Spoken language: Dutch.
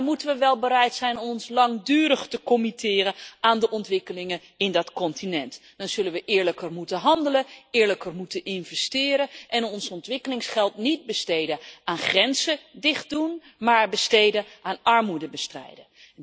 Maar dan moeten we wel bereid zijn ons langdurig te committeren aan de ontwikkelingen in dat continent, dan zullen we eerlijker moeten handelen, eerlijker moeten investeren en ons ontwikkelingsgeld niet besteden aan grenzen dicht doen maar besteden aan armoedebestrijding.